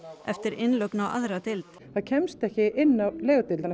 eftir innlögn á aðra deild það kemst ekki inn á